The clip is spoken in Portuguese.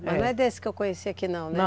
Mas não é desse que eu conheci aqui não, né? Não.